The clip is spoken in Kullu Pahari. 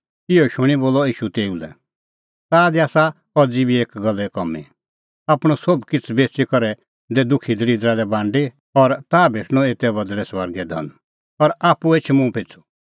इहअ शूणीं बोलअ ईशू तेऊ लै ताह दी आसा अज़ी बी एकी गल्ले कामीं आपणअ सोभ किछ़ बेच़ी करै दै दुखी दल़िदरा लै बांडी और ताह भेटणअ एते बदल़ै स्वर्गे धन और आप्पू एछ मुंह पिछ़ू